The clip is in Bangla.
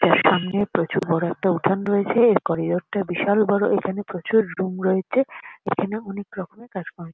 যার সামনে প্রচুর বড় একটা উঠান রয়েছে এর করিডোর টা বিশাল বড় এখানে প্রচুর রুম রয়েছে এখানে অনেক রকমের কাজ কর্ম--